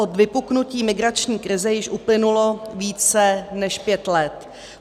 Od vypuknutí migrační krize již uplynulo více než pět let.